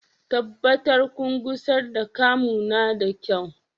Tabbatar kun gusar da Camo na da kyau